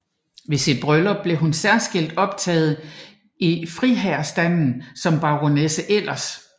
Ved sit bryllup blev hun særskilt optaget i friherrestanden som baronesse Elers